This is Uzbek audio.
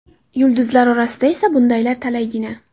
Yulduzlar orasida esa bundaylar talaygina.